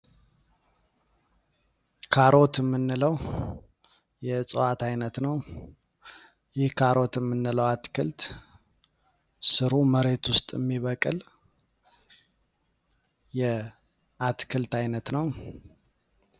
ካሮት የምንለው የጨዋታ አይነት ነው አትክልት ስሩ መሬት ውስጥ የሚበቅል የአትክልት አይነት ነው